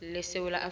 lesewula